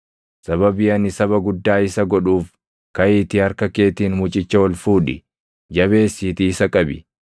Sababii ani saba guddaa isa godhuuf kaʼiitii harka keetiin mucicha ol fuudhi; jabeessiitii isa qabi.”